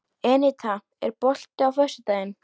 Eníta, er bolti á föstudaginn?